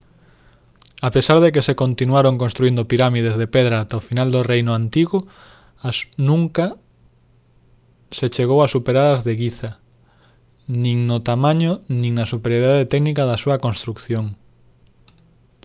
a pesar de que se continuaron construíndo pirámides de pedra ata o final do reino antigo as nunca se chegou a superar as de guiza nin no tamaño nin na superioridade técnica da súa construción